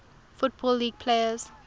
football league players